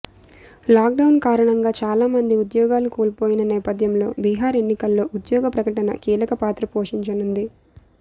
lockdown కారణంగా చాలా మంది ఉద్యోగాలు కోల్పోయిన నేపథ్యంలో బిహార్ ఎన్నికల్లో ఉద్యోగ ప్రకటన కీలక పాత్ర పోషించనుంది